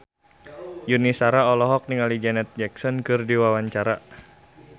Yuni Shara olohok ningali Janet Jackson keur diwawancara